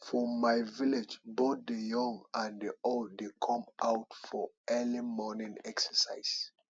for my village both the young and old dey come out for early morning exercise